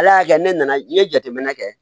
Ala y'a kɛ ne nana n ye jateminɛ kɛ